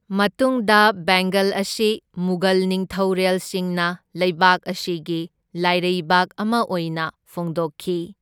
ꯃꯇꯨꯡꯗ ꯕꯦꯡꯒꯜ ꯑꯁꯤ ꯃꯨꯘꯜ ꯅꯤꯡꯊꯧꯔꯦꯜꯁꯤꯡꯅ ꯂꯩꯕꯥꯛ ꯑꯁꯤꯒꯤ ꯂꯥꯏꯔꯩꯕꯥꯛ ꯑꯃ ꯑꯣꯏꯅ ꯐꯣꯡꯗꯣꯛꯈꯤ꯫